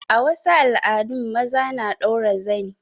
A wasu al'adun maza na ɗaura zani.